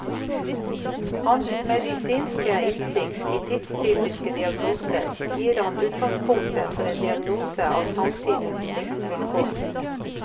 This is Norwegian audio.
Hans medisinske innsikt i tidstypiske diagnoser gir ham utgangspunktet for en diagnose av samtidens livsvilkår.